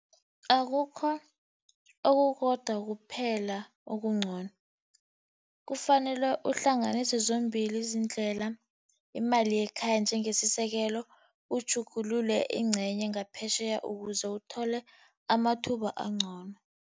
Akukho okukodwa kuphela okuncono. Kufanele uhlanganise zombili iindlela, imali yekhaya njengesisekelo, utjhugulule ingcenye ngaphetjheya ukuze uthole amathuba angcono.